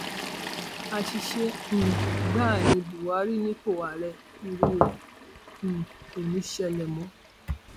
àṣìṣe um gbáà ní buhari nípò ààrẹ irú ẹ um kò ní í ṣẹlẹ mọ